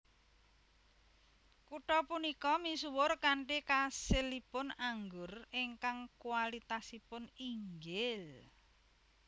Kutha punika misuwur kanthi kasilipun anggur ingkang kualitasipun inggil